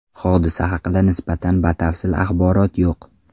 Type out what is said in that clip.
Hodisa haqida nisbatan batafsil axborot yo‘q.